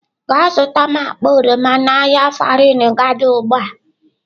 Gaa zụta m akpa oroma n'ahịa Farin gada ugbu a!.